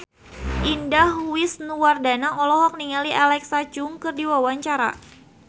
Indah Wisnuwardana olohok ningali Alexa Chung keur diwawancara